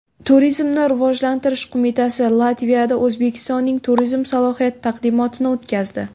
Turizmni rivojlantirish qo‘mitasi Latviyada O‘zbekistonning turizm salohiyati taqdimotini o‘tkazdi.